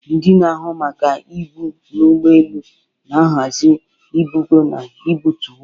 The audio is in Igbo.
Ndị na-ahụ maka ibu n'ụgbọ elu na-ahazi ibugo na ibutu ibu.